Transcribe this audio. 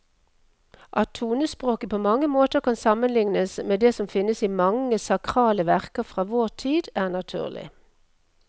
At tonespråket på mange måter kan sammenlignes med det som finnes i mange sakrale verker fra vår tid, er naturlig.